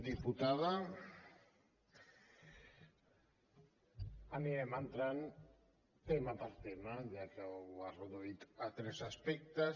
diputada anirem entrant tema per tema ja que ho ha reduït a tres aspectes